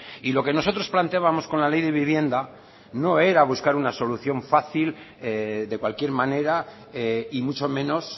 y lo que nosotros planteábamos con la ley de vivienda no era buscar una solución fácil de cualquier manera y mucho menos